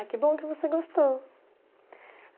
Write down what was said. Ah, que bom que você gostou.